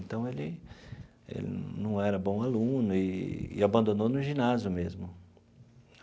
Então, ele ele não era bom aluno e e abandonou no ginásio mesmo.